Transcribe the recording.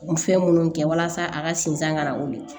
Fɛn minnu kɛ walasa a ka sinzan kana wili